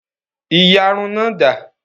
Ìyárún náà da?